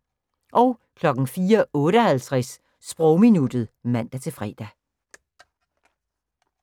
04:58: Sprogminuttet (man-fre)